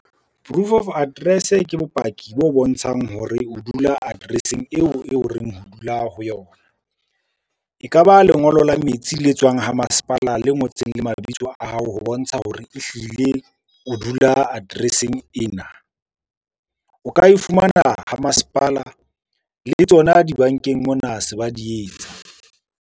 Proof of address ke bopaki bo bontshang hore o dula address-eng eo e o reng o dula ho yona. E ka ba lengolo la metsi le tswang ho masepala le ngotseng le mabitso a ao ho bontsha hore ehlile o dula address-eng ena. O ka e fumana ha masepala le tsona dibankeng mona se ba di etsa.